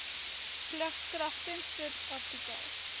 plig kragtens subartikel